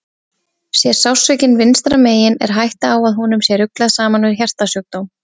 Sé sársaukinn vinstra megin er hætta á að honum sé ruglað saman við hjartasjúkdóm.